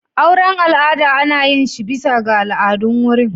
Auren al'ada ana yin shi bisa ga al'adun wurin.